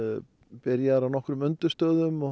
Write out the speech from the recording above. byrjaðir á nokkrum undirstöðum og